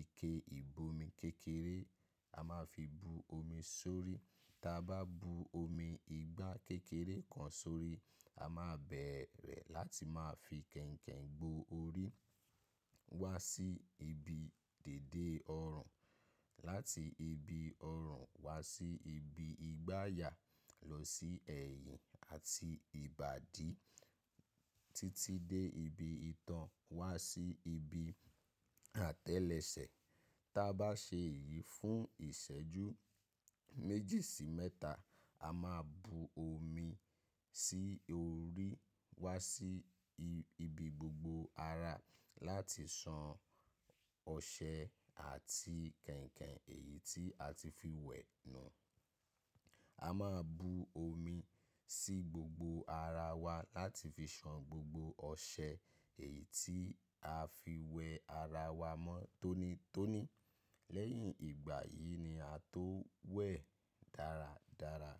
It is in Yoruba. ike ìbomi kékeré, a máa fi bu omi sórí. Tí a bá bu omi ìgbà kékeré kan sórí, a máa bẹ̀rẹ̀ láti máa fi kainkain gbó orí wá sí ibi dède ọrùn, láti ibi ọrùn wá sí ibi ìgbàyà lọ sí ẹ̀yìn àti ìbàdí títí dé ibi itan wá sí ibi àtẹ́lẹsẹ̀. Tí a bá ṣe èyí fún ìṣẹ́jú méjì sí mẹ́ta, a máa bu omi sí orí wá sí ibi gbogbo ara láti san ọṣẹ àti kainkain èyí tí a ti fi wẹ̀ nù. A máa bu omi sí gbogbo ara wa láti fi san gbogbo ọṣẹ èyí tí a fi wẹ ara wa mọ́ tónítóní. Lẹ́yìn ìgbà yìí ni a tó wẹ̀ dáradára.